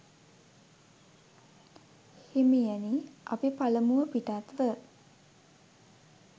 හිමියනි, අපි පළමුව පිටත්ව